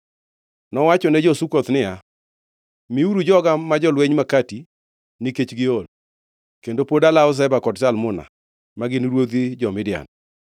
Nowachone jo-Sukoth niya, “Miuru joga ma jolweny makati nikech giol, kendo pod alawo Zeba kod Zalmuna, ma gin ruodhi jo-Midian.”